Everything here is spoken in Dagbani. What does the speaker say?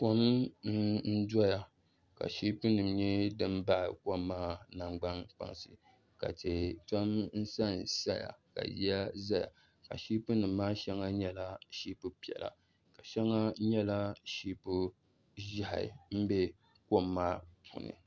Kom n doya ka shiipi nim nyɛ din baɣa kom maa nangbani kpansi ka tihi tom sansaya ka yiya ʒɛya ka shiipi nim maa shɛŋa nyɛla shiipipiɛla shɛŋa nyɛla shiipi ʒiɛhi n bɛ kom maa puuni